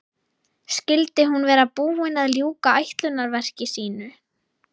Skyldi hún vera búin að ljúka ætlunarverki sínu?